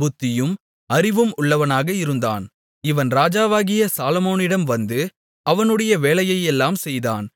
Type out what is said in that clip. புத்தியும் அறிவும் உள்ளவனாக இருந்தான் இவன் ராஜாவாகிய சாலொமோனிடம் வந்து அவனுடைய வேலையையெல்லாம் செய்தான்